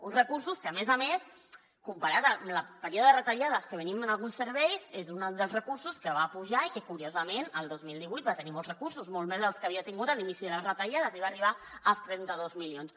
uns recursos que a més a més comparat amb el període de retallades de què venim en alguns serveis és un dels recursos que va pujar i que curiosament el dos mil divuit va tenir molts recursos molt més dels que havia tingut a l’inici de les retallades i va arribar als trenta dos milions